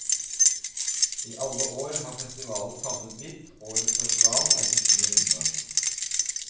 I alle år har festivalen favnet vidt, årets festival er ikke noe unntak.